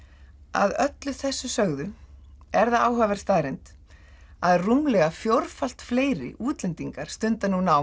að öllu þessu sögðu er það áhugaverð staðreynd að rúmlega fjórfalt fleiri útlendingar stunda nú nám